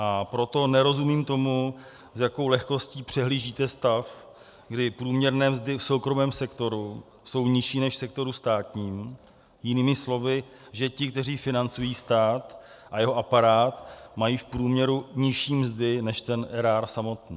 A proto nerozumím tomu, s jakou lehkostí přehlížíte stav, kdy průměrné mzdy v soukromém sektoru jsou nižší než v sektoru státním, jinými slovy, že ti, kteří financují stát a jeho aparát, mají v průměru nižší mzdy než ten erár samotný.